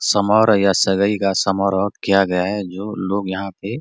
समारोह यहाँ सगाई का समारोह किया गया है जो लोग यहाँ पे --